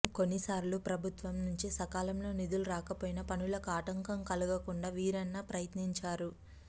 కొన్నిసార్లు ప్రభుత్వం నుంచి సకాలంలో నిధులు రాకపోయినా పనులకు ఆటంకం కలగకుండా వీరన్న ప్రయత్నించారు